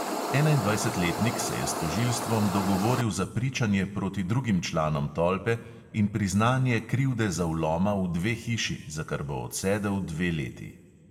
Enaindvajsetletnik se je s tožilstvom dogovoril za pričanje proti drugim članom tolpe in priznanje krivde za vloma v dve hiši, za kar bo odsedel dve leti.